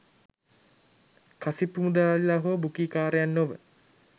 කසිප්පු මුදලාලිලා හෝ බුකීකාරයන් නොව